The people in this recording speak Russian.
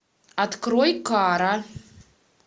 открой кара